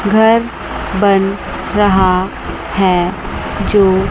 घर बन रहा है जो--